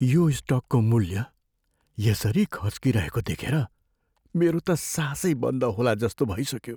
यो स्टकको मूल्य यसरी खस्किरहेको देखेर मेरो त सासै बन्द होलाजस्तो भइसक्यो।